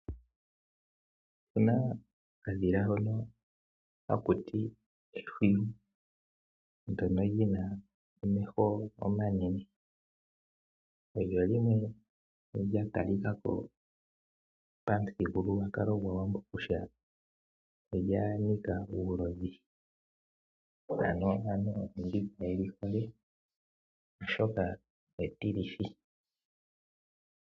Opena okadhila hoka hakutiwa ehwiyu.. Ndono Lyina omeho omanene, olyo limwe lyatalikako pamuthigululwakalo gwAawambo kutya olya nika uulodhi, ano aantu kageli hole oshoka etilithi.